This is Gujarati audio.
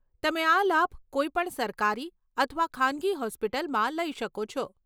તમે આ લાભ કોઈપણ સરકારી અથવા ખાનગી હોસ્પિટલમાં લઈ શકો છો.